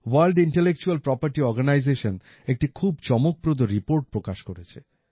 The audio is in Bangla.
ভোর্ল্ড ইন্টেলেকচুয়াল প্রপার্টি অর্গানাইজেশন একটি খুব চমকপ্রদ রিপোর্ট প্রকাশ করেছে